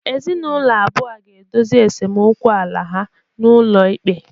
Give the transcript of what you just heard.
Ezinụlọ abụọ a ga-edozi esemokwu ala ha n'ụlọ ikpe